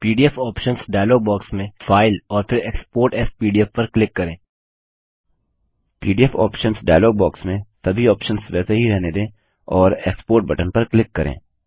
PDF options dialogue box में file और फिर एक्सपोर्ट एएस पीडीएफ पर क्लिक करें एक्स्पोर्ट बटन पर सभी ऑप्शन्स को क्लिक करें